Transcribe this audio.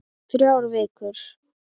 Þrjár vikur.